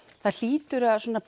það hlýtur að